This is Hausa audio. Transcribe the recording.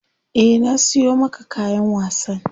Eh na siyo maka kayan wasan.